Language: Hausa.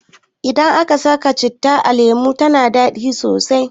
Idan aka saka citta a lemu tana dadi sosai